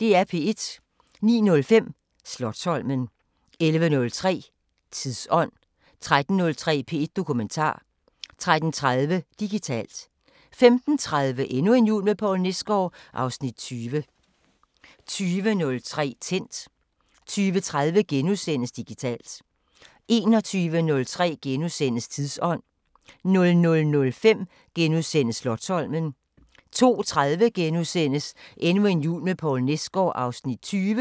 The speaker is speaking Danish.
09:05: Slotsholmen 11:03: Tidsånd 13:03: P1 Dokumentar 13:30: Digitalt 15:30: Endnu en jul med Poul Nesgaard (Afs. 20) 20:03: Tændt 20:30: Digitalt * 21:03: Tidsånd * 00:05: Slotsholmen * 02:30: Endnu en jul med Poul Nesgaard (Afs. 20)*